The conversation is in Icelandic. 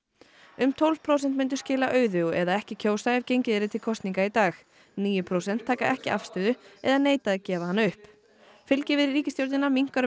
um tólf prósent myndu skila auðu eða ekki kjósa ef gengið yrði til kosninga í dag níu prósent taka ekki afstöðu eða neita að gefa hana upp fylgi við ríkisstjórnina minnkar